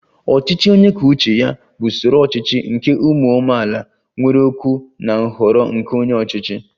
Ọchịchị onye kwuo uche ya bụ usoro ọchịchị nke ụmụ amaala nwere okwu na nhọrọ nke onye ọchịchị